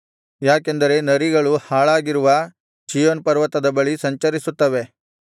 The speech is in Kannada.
ಯಾಕೆಂದರೆ ನರಿಗಳು ಹಾಳಾಗಿರುವ ಚೀಯೋನ್ ಪರ್ವತದ ಬಳಿ ಸಂಚರಿಸುತ್ತವೆ